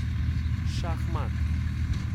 Šah mat!